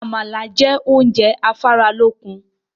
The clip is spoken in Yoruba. Àmàlà jẹ́ oúnjẹ afáralókun